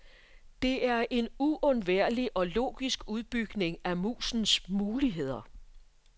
Det er en uundværlig og logisk udbygning af musens muligheder.